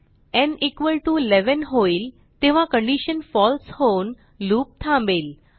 न् 11 होईल तेव्हा condition false होऊन लूप थांबेल